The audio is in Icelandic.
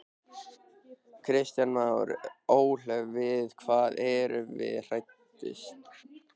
Kristján Már: Ólöf við hvað eru þið hræddust?